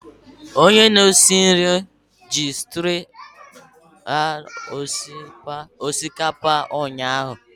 Onye na-esi nri ji streena hue osikapa ụnyahụ.